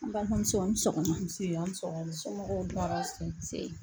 N balimamuso an ni sɔgɔma, nse an ni sɔgɔma, somɔgɔw dun, tɔɔrɔ si tɛ, nse.